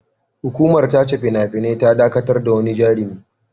Hukumar tace fina-finai ta dakatar da wani jarumi.